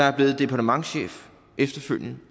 er blevet departementschef